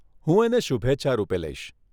હું એને શુભેચ્છા રૂપે લઈશ.